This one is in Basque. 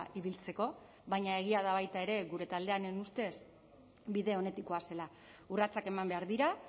ibiltzeko baina egia da baita ere gure taldearen ustez bide onetik goazela urratsak eman behar dira